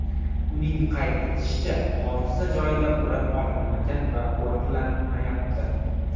Uning qayd etishicha, hodisa joyida o‘rab olinmagan va qo‘riqlanmayapti.